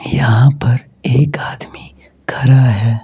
यहां पर एक आदमी खड़ा है।